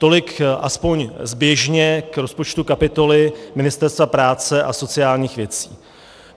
Tolik aspoň zběžně k rozpočtu kapitoly Ministerstva práce a sociálních věcí.